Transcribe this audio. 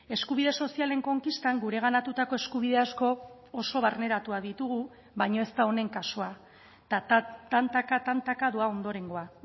eskubide sozialen konkistan gureganatutako eskubide asko oso barneratuak ditugu baina ez da honen kasua tantaka tantaka doa ondorengoa